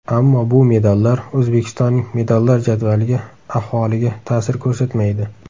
Ammo bu medallar O‘zbekistonning medallar jadvaliga ahvoliga ta’sir ko‘rsatmaydi.